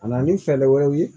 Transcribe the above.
Ka na ni fɛɛrɛ wɛrɛw ye